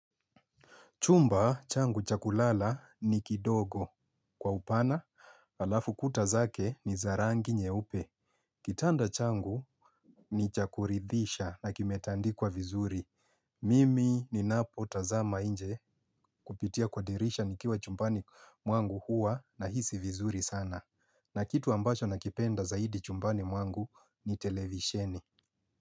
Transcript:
Chumba changu cha kulala ni kidogo. Kwa upana alafu kuta zake ni za rangi nyeupe. Kitanda changu ni cha kuridhisha na kimetandikwa vizuri. Mimi ninapo tazama inje kupitia kwa dirisha nikiwa chumbani mwangu hua nahisi vizuri sana. Na kitu ambasho nakipenda zaidi chumbani mwangu ni televisheni.